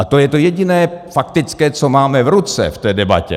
A to je to jediné faktické, co máme v ruce v té debatě.